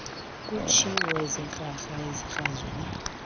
kutshiwo ezikrakra ezikrazula